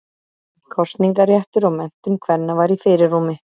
Kosningaréttur og menntun kvenna var í fyrirrúmi.